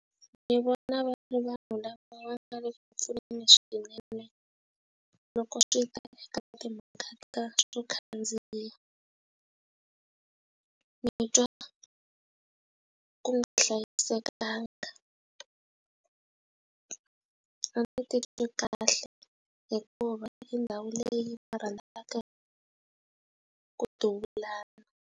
Ni vona va ri vanhu lava nga le ku pfuneni swinene loko swi ta eka timhaka ta swo khandziya. ni twa ku nga hlayisekanga a ni titwi kahle hikuva hi ndhawu leyi va rhandzaka ku duvulana.